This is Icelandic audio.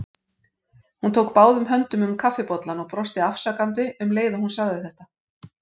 Hún tók báðum höndum um kaffibollann og brosti afsakandi um leið og hún sagði þetta.